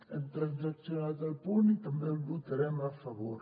hem transaccionat el punt i també hi votarem a favor